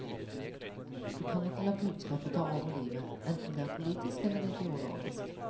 Du kan ikke la budskapet ta over livet, enten det er politisk eller ideologisk.